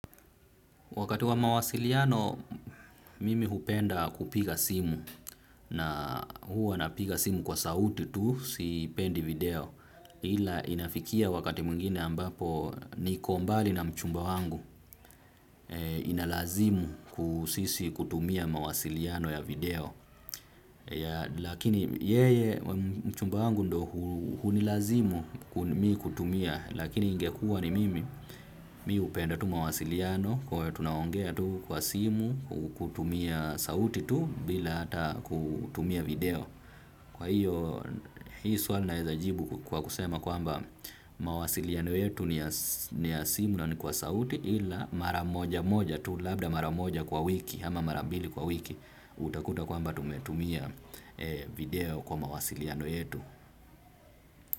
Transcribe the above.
Wakati wa mawasiliano mimi hupenda kupiga simu na hua napiga simu kwa sauti tu siipendi video ila inafikia wakati mwingine ambapo nikombali na mchumba wangu inalazimu ku sisi kutumia mawasiliano ya video. Lakini yeye mchumba wangu ndo hunilazimu mi kutumia. Lakini ingekua ni mimi mi hupenda tu mawasiliano. Kwa we tunaongea tu kwa simu kutumia sauti tu bila hata kutumia video. Kwa hiyo hii swali naezajibu kwa kusema kwamba mawasiliano yetu ni ya simu na ni kwa sauti. Ila maramoja moja tu labda maramoja kwa wiki ama mara mbili kwa wiki utakuta kwamba tumetumia video kwa mawasiliano yetu.